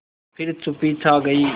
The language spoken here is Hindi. फिर चुप्पी छा गई